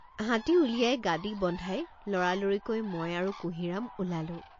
হাতী উলিয়াই গাদী বন্ধাই লৰালৰিকৈ মই আৰু কুঁহিৰাম ওলালোঁ।